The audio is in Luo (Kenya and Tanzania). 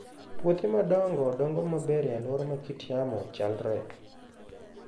Puothe madongo dongo maber e alwora ma kit yamo chalre.